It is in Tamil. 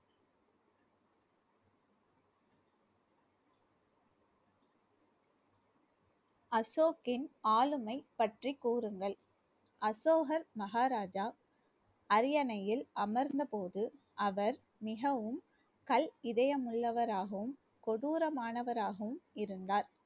அசோக்கின் ஆளுமை பற்றி கூறுங்கள் அசோகர் மகாராஜா அரியணையில் அமர்ந்த போது அவர் மிகவும் கல் இதயம் உள்ளவராகவும் கொடூரமானவராகவும் இருந்தார்